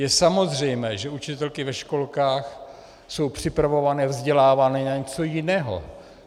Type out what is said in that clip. Je samozřejmé, že učitelky ve školkách jsou připravované, vzdělávané na něco jiného.